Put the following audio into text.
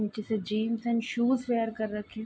नीचे से jeans and shoes wear कर रखे --